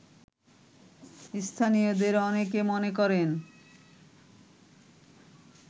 স্থানীয়দের অনেকে মনে করেন